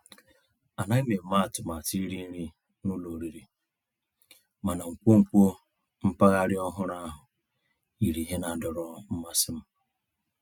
Ànàghị́ m èmé àtụ̀màtụ́ írì nrí ná ụ́lọ̀ ọ̀rị́rị́, mànà nkwonkwo mpàgàrà ọ̀hụ́rụ́ ahụ́ yìrí íhè ná-àdọ̀rọ́ mmàsí m.